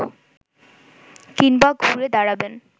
কিংবা ঘুরে দাঁড়াবেন